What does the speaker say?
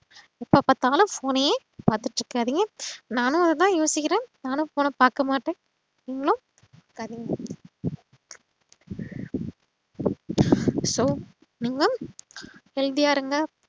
இப்போ பாத்தாலும் phone ஐயே பாத்துட்டு இருக்காதிங்க நானும் அத்தான் யோசிக்கிறேன் நானும் phone அ பாக்கமாட்டேன் நீங்களும் பாக்காதிங்க so நீங்க healthy யா இருங்க